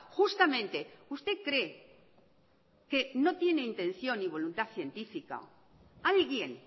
justamente usted cree que no tienen intención y voluntad científica alguien